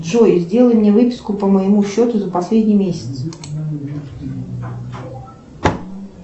джой сделай мне выписку по моему счету за последний месяц